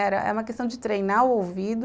Era, é uma questão de treinar o ouvido.